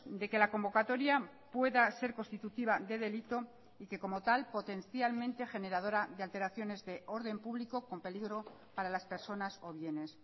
de que la convocatoria pueda ser constitutiva de delito y que como tal potencialmente generadora de alteraciones de orden público con peligro para las personas o bienes